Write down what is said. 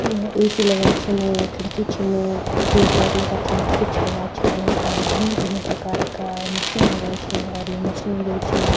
यह ए.सी. लगाया छिन खिड़की छिन ट्यूबलाइट लगा छिन स्विच लगा छिन और भिन्न भिन्न प्रकार का मशीन लग्याँ छिन और ये मशीन जो छी --